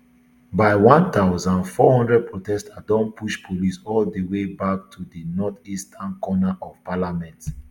by one thousand, four hundred protesters don push police all di way back to di northeastern corner of parliament